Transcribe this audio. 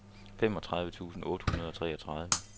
femogtredive tusind otte hundrede og treogtredive